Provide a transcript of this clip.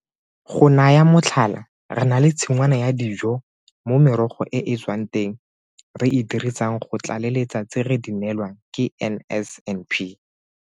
Go naya motlhala, re na le tshingwana ya dijo mo merogo e e tswang teng re e dirisang go tlaleletsa tse re di neelwang ke NSNP.